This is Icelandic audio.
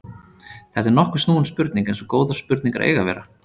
Þetta er nokkuð snúin spurning eins og góðar spurningar eiga að vera.